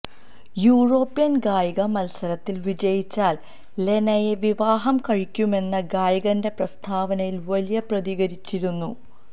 European ഗായിക മത്സരത്തിൽ വിജയിച്ചാൽ ലെനയെ വിവാഹം കഴിക്കുമെന്ന് ഗായകന്റെ പ്രസ്താവനയിൽ വലിയ പ്രതികരിച്ചിരുന്നു